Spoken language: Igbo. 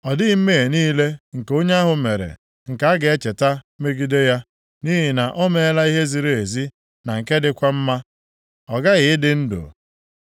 Ọ dịghị mmehie niile nke onye ahụ mere nke a ga-echeta megide ya. Nʼihi na o meela ihe ziri ezi na nke dịkwa mma, ọ gaghị ịdị ndụ.